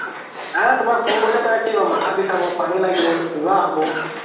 আ তুমাক phone কৰিলে কি ক'ব মাথা বিখাব পানি লাগিব কিবা হ'ব